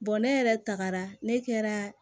ne yɛrɛ tagara ne kɛra